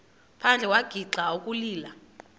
phandle wagixa ukulila